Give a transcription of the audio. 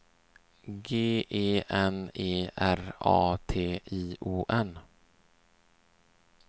G E N E R A T I O N